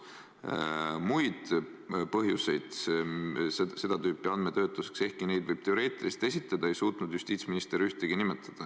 Muid põhjuseid seda tüüpi andmetöötluseks, ehkki neid võib teoreetiliselt esitada, ei suutnud justiitsminister ühtegi nimetada.